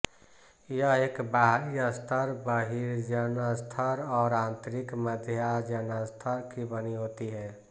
यह एक बाहरी स्तर बहिर्जनस्तर और आंतरिक मध्यजनस्तर की बनी होती है